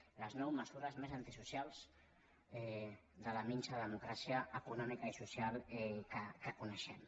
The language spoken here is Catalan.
les nou mesures més antisocials de la minsa democràcia econòmica i social que coneixem